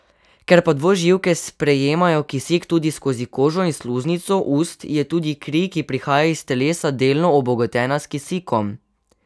Ker pa dvoživke sprejemajo kisik tudi skozi kožo in sluznico ust, je tudi kri, ki prihaja iz telesa, delno obogatena s kisikom.